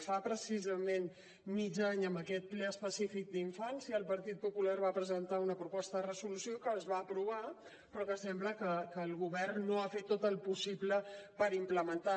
fa precisament mig any en aquest ple específic d’infància el partit popular va presentar una proposta de resolució que es va aprovar però que sembla que el govern no ha fet tot el possible per implementar la